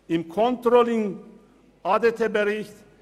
Im Controlling-Bericht